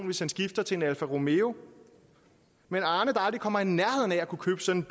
hvis han skifter til en alfa romeo men arne der aldrig kommer i nærheden af at kunne købe sådan